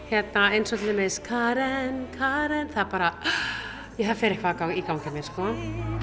hérna eins og til dæmis Karen Karen það bara fer eitthvað í gang hjá mér sko